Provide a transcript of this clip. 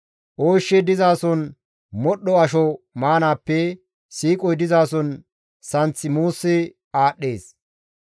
Ooshshi dizason modhdho asho maanaappe siiqoy dizason santh muusi aadhdhees.